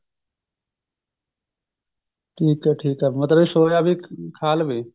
ਠੀਕ ਹੈ ਠੀਕ ਹੈ ਮਤਲਬ soya ਵੀ ਖਾ ਲਵੇ